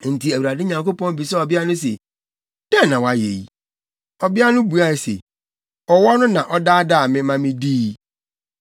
Enti Awurade Nyankopɔn bisaa ɔbea no se, “Dɛn na woayɛ yi?” Ɔbea no buae se, “Ɔwɔ no na ɔdaadaa me ma midii.”